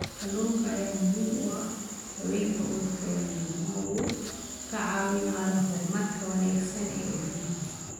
Kalluunka ayaa muhiim u ah haweenka uurka leh maadaama uu ka caawinayo horumarka wanaagsan ee ilmaha.